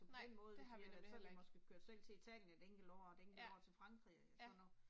På den måde hvis vi har været med så har vi måske kørt selv til Italien et enkelt år og et enkelt år til Frankrig eller sådan noget